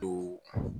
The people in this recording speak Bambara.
Do